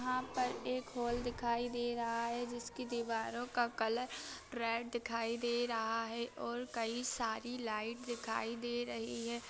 पर एक हॉल दिखाई दे रहा है। जिसकी दीवारों का कलर रेड दिखाई दे रहा है और कई सारी लाइट दिखाई दे रही हैं।